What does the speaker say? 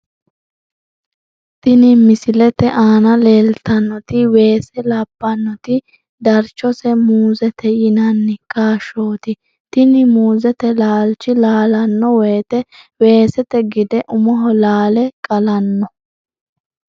Tini misilete aana leeltannoti weese labbanoti darchose muuzete yinanni kaashshooti tini muuzete laalchi laalanno woyte weesete gede umoho laale qalanno.